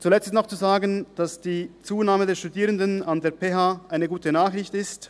Zuletzt ist noch zu sagen, dass die Zunahme der Studierenden an der PH eine gute Nachricht ist.